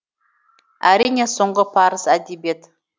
әрине соңғы парыз әдебиет